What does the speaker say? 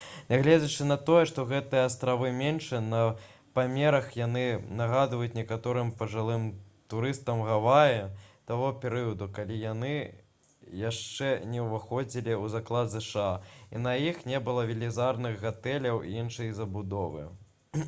нягледзячы на тое што гэтыя астравы меншыя па памерах яны нагадваюць некаторым пажылым турыстам гаваі таго перыяду калі яны яшчэ не ўваходзілі ў склад зша і на іх не было велізарных гатэляў і іншай забудовы